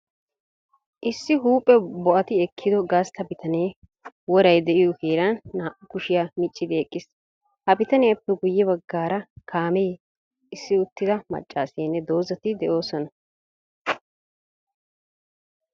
Issi huuphe bo'ati ekkiyo gastta bitanee woray de'iyo heeran naa''u kushiya miccidi eqqiis. Ha bitaniyappe guyye baggaara kaamee, issi uttida maccaasiyanne dozatikka de'oosona.